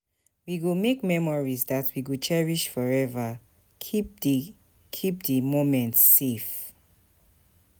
We go make memories dat we go cherish forever, keep di keep di moments safe.